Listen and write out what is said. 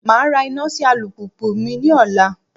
Màá ra iná sí alùpùpù mi ní ọ̀la